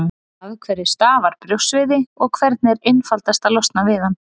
Af hverju stafar brjóstsviði, og hvernig er einfaldast að losna við hann?